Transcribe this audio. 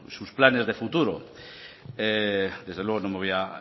sus planes de futuro desde luego